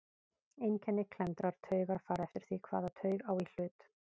Einkenni klemmdrar taugar fara eftir því hvaða taug á í hlut.